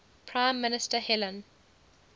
prime minister helen